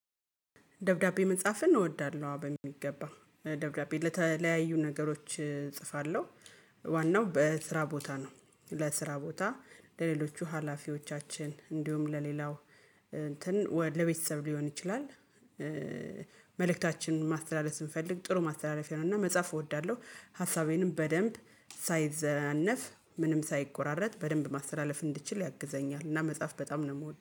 ደብዳቤ መጻፍን እንወዳለው አዎ በሚገባ ደብዳቤ ለተለያዩ ነገሮች እጽፋለሁ። ዋናው በስራ ቦታ ነው ለስራ ቦታ ለሌሎቹ ሀላፊዎቻችን እንዲሁም ለሌላው እንትን ወይ ለቤተሰብ ሊሆን ይችላል። መልእክታችንን ማስተላለፍ ስንፈልግ ጥሩ ማስተላለፊያ ነው እና መጻፍ እወዳለሁ። ሀሳቤንም በደንብ ሳይዘናነፍ ምንም ሳይቆራረጥ በደንብ ማስተላለፍ እንድችል ያግዘኛል እና መጽሐፍ በጣም ነው የምወደው